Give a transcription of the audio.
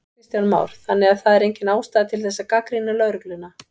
Kristján Már: Þannig að það er engin ástæða til þess að gagnrýna lögregluna?